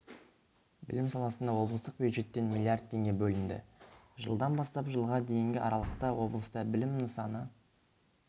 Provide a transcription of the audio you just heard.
білім саласына облыстық бюджеттен млрд теңге бөлінді жылдан бастап жылға дейінгі аралықта облыста білім нысаны